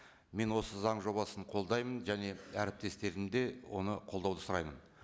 мен осы заң жобасын қолдаймын және әріптестерімді де оны қолдауды сұраймын